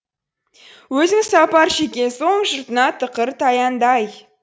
өзің сапар шеккен соң жұртыңа тықыр таянды ай